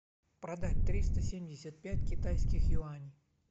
продать триста семьдесят пять китайских юаней